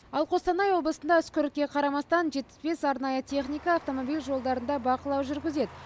ал қостанай облысында үскірікке қарамастан жетпіс бес арнайы техника автомобиль жолдарында бақылау жүргізеді